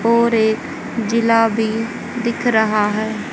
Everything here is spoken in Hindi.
और एक जिला भी दिख रहा है।